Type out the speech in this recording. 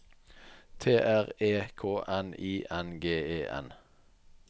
T R E K N I N G E N